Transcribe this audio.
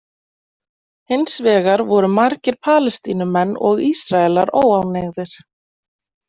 Hins vegar voru margir Palestínumenn og Ísraelar óánægðir.